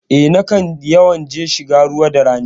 Eh, nakan yawan je shiga ruwa da rani.